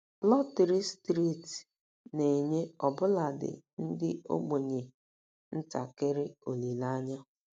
Lọtrị steeti na-enye ọbụladị ndị ogbenye ntakịrị olileanya.